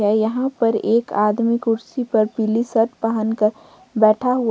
यहां पर एक आदमी कुर्सी पर पीली शर्ट पहनकर बैठा हुआ--